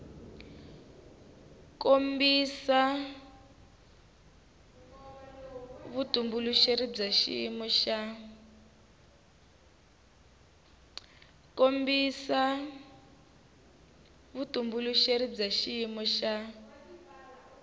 kombisa vutitumbuluxeri bya xiyimo xa